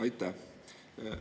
Aitäh!